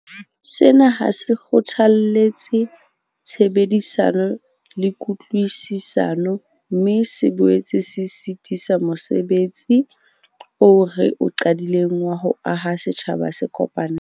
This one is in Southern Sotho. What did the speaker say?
Sena ha se kgothalletse tshebedisano le kutlwisisano, mme se boetse se sitisa mose betsi oo re o qadileng wa ho aha setjhaba se kopaneng.